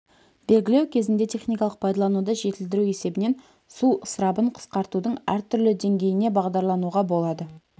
белгілеу кезінде техникалық пайдалануды жетілдіру есебінен су ысырабын қысқартудың әртүрлі деңгейіне бағдарлануға болады